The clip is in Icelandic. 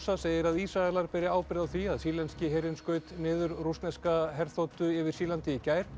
segir að Ísraelar beri ábyrgð á því að sýrlenski herinn skaut niður rússneska herþotu yfir Sýrlandi í gær